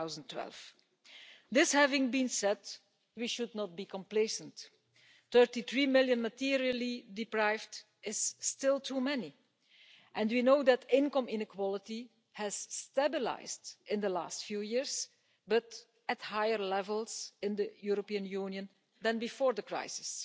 2012. Having said this, we should not be complacent. Thirty-three million materially deprived people is still too many, and we know that income inequality has stabilised in the last few years, but at higher levels in the European Union than before the crisis.